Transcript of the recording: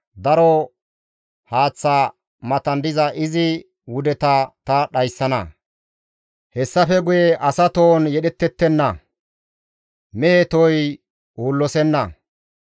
Daro haaththa matan diza izi wudeta ta dhayssana; hessafe guye asa tohon yedhettettenna; mehe tohoy uullosenna.